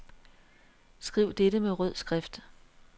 Skriv dette med rød skrift.